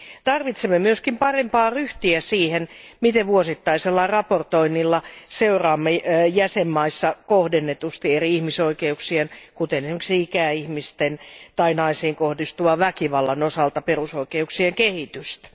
Tarvitsemme myös parempaa ryhtiä siihen, miten vuosittaisella raportoinnilla seuraamme jäsenvaltioissa kohdennetusti eri ihmisoikeuksien, kuten esimerkiksi ikäihmisten tai naisiin kohdistuvan väkivallan osalta perusoikeuksien kehitystä.